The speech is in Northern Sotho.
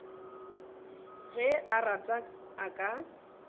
ge a rata a ka